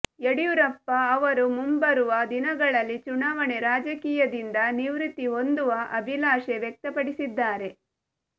ಯಡಿಯೂರಪ್ಪ ಅವರು ಮುಂಬರುವ ದಿನಗಳಲ್ಲಿ ಚುನಾವಣೆ ರಾಜಕೀಯದಿಂದ ನಿವೃತ್ತಿ ಹೊಂದುವ ಅಭಿಲಾಷೆ ವ್ಯಕ್ತಪಡಿಸಿದ್ದಾರೆ